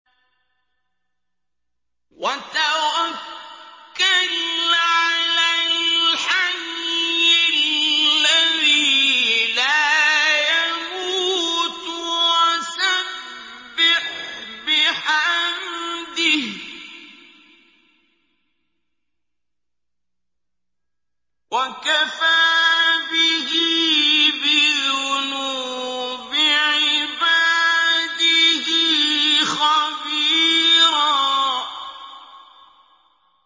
وَتَوَكَّلْ عَلَى الْحَيِّ الَّذِي لَا يَمُوتُ وَسَبِّحْ بِحَمْدِهِ ۚ وَكَفَىٰ بِهِ بِذُنُوبِ عِبَادِهِ خَبِيرًا